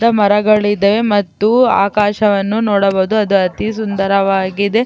ಗಿಡಮರಗಳಿದೆ ಮತ್ತು ಆಕಾಶವನ್ನು ನೋಡಬಹುದು ಅದು ಅತಿ ಸುಂದರವಾಗಿದೆ .